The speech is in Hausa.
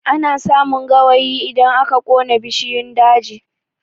Ana samun gawayi idan aka ƙona bishiyun daji